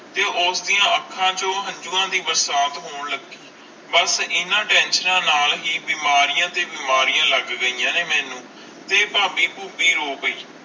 ਤੇ ਉਸ ਦੀਆ ਅਣਖ ਚੂ ਹੰਜੁਵਾ ਦੀ ਬਰਸਾਤ ਹੋਣ ਲੱਗੀ ਬਸ ਇੰਨਾ ਟੇਨਸ਼ਿਓਣਾ ਨਾਲ ਬੀਮਾਰੀਆਂ ਦੇ ਬੀਮਾਰੀਆਂ ਲੱਗ ਗਿਆ ਨੇ ਮੇਨੂ ਤੇ ਫਾਬੀ ਪਹੁਬੀ ਰੋ ਪੈ